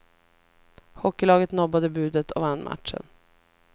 Hockeylaget nobbade budet och vann matchen.